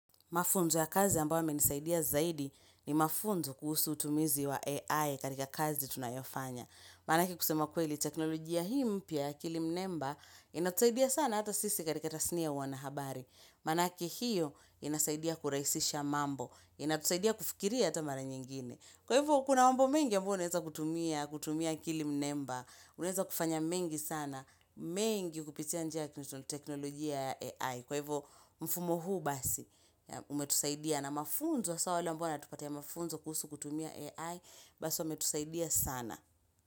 Mafunzo ya kazi ambayo yamenisaidia zaidi ni mafunzo kuhusu utumizi wa AI katika kazi tunayofanya. Maanake kusema kweli, teknologia hii mpya, akili mnemba, inatusaidia sana hata sisi katika tasnia ya wanahabari. Maanake hiyo inasaidia kurahisisha mambo, inatusaidia kufikiria hata mara nyingine. Kwa hivyo, kuna mambo mengi ambayo unaweza kutumia, kutumia akili mnemba, unaweza kufanya mengi sana, mengi kupitia njia ya teknolojia ya AI. Kwa hivyo mfumo huu basi umetusaidia na mafunzo hasa wale ambao watupatia mafunzo kuhusu kutumia AI basi wametusaidia sana.